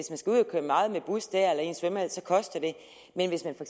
køre meget med bus der eller i en svømmehal så koster det men hvis man for